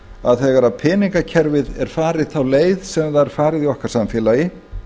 að þegar peningakerfið er farið þá leið sem það er farið í okkar samfélagi